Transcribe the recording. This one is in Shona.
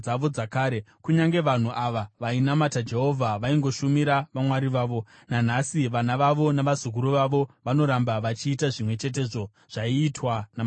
Kunyange vanhu ava vainamata Jehovha, vaingoshumira vamwari vavo. Nanhasi vana vavo navazukuru vavo vanoramba vachiita zvimwe chetezvo zvaiitwa namadzibaba avo.